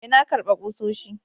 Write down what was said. Ee, na karba kusoshi.